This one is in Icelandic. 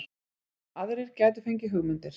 Aðrir gætu fengið hugmyndir